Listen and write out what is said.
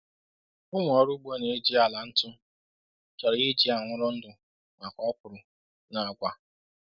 Ụmụ ọrụ ugbo na-eji ala ntu chọrọ iji anwụrụ ndụ maka okwuru na agwa.”